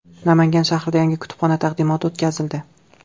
Namangan shahrida yangi kutubxona taqdimoti o‘tkazildi.